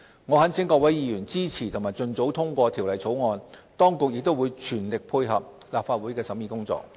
我懇請各位議員支持及盡早通過《條例草案》，當局亦會全力配合立法會的審議工作。